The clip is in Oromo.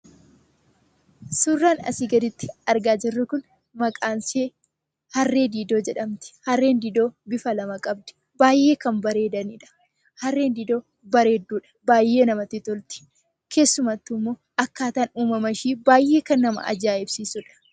Suuraan asii gaditti argaa jirru Kun, maqaan ishee harree diidoo jedhamti. Harreen diidoo bifa lama qabdi. Baayyee kan bareedanidha. Harreen diidoo bareedduu dha , baayyee namatti tolti. Keessumattuu immoo akkaataan uumama ishee baayyee kan nama ajaa'ibsiisudha.